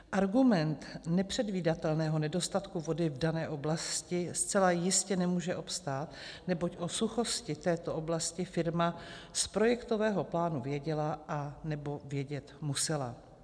Argument nepředvídatelného nedostatku vody v dané oblasti zcela jistě nemůže obstát, neboť o suchosti této oblasti firma z projektového plánu věděla, anebo vědět musela.